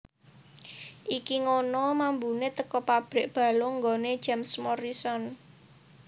Iki ngono mambune teko pabrik balung nggone James Morrison